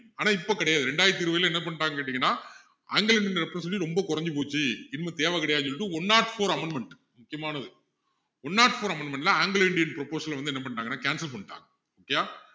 ஆனா இப்போ கிடையாது இரண்டாயிரத்து இருபதுல என்ன பண்ணிட்டாங்கன்னு கேட்டீங்கன்னா anglo indian representative ரொம்ப குறைஞ்சு போச்சு இனிமேல் தேவை கிடையாதுன்னு சொல்லிட்டு one not four amendment முக்கியமானது one not four amendment ல anglo indian proposal அ வந்து என்ன பண்ணிட்டாங்கன்னா cancel பண்ணிட்டாங்க okay யா